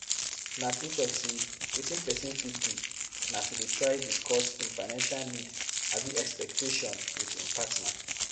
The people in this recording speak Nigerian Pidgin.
Na true talk sey wetin pesin fit do na to dey try discuss im financial need abi expectation with im partner.